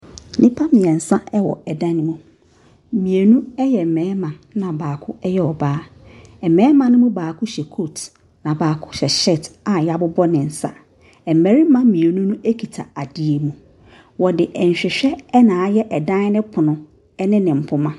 Nnipa mmeɛnsa wɔ dan no mu. Mmienu yɛ mmarima, ɛnna baako yɛ ɔbaa. Mmarima no mu baako hyɛ coat, na baako hyɛ shirt a wɔabobɔ ne nsa. Mmarima mmienu no kita adeɛ bi. Wɔde nhwehwɛ na ayɛ dan no pono ne ne mpoma.